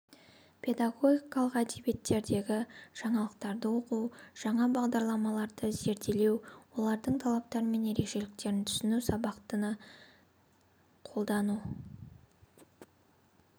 педагогикалық әдебиеттердегі жаңалықтарды оқу жаңа бағдарламаларды зерделеу олардың талаптары мен ерекшеліктерін түсіну сабақта ны қолдану